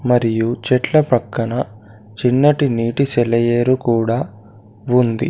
మరియు చెట్ల పక్కన చిన్నటి నీటి సెలయేరు కూడా ఉంది.